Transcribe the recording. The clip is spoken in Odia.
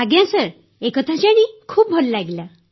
ଆଜ୍ଞା ସାର୍ ଏକଥା ଜାଣି ଖୁବ୍ ଭଲ ଲାଗିଲା